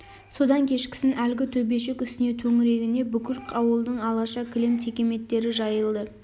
содан кешкісін әлгі төбешік үстіне төңірегіне бүкіл ауылдың алаша кілем текеметтері жайылды